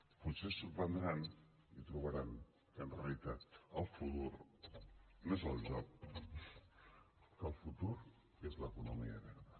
potser se sorprendran i trobaran que en realitat el futur no és el joc que el futur és l’economia verda